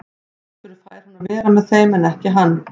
Af hverju fær hún að vera með þeim en ekki hann?